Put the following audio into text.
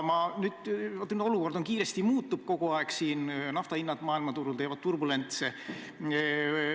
Olukord muutub kiiresti kogu aeg, naftahinnad maailmaturul teevad turbulentse läbi.